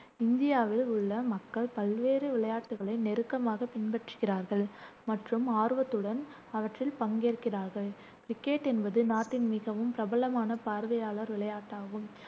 இந்தியாவில் உள்ள மக்கள் பல்வேறு விளையாட்டுகளை நெருக்கமாகப் பின்பற்றுகிறார்கள் மற்றும் ஆர்வத்துடன் அவற்றில் பங்கேற்கிறார்கள் கிரிக்கெட் என்பது நாட்டில் மிகவும் பிரபலமான பார்வையாளர் விளையாட்டாகும்,